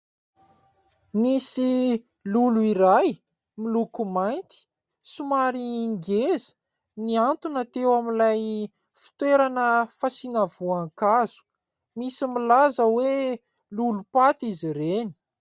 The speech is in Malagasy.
Nisy lolo iray miloko mainty somary ngeza nihantona teo amin'ilay fitoerana fasiana voankazo, misy milaza hoe lolo-paty izy ireny.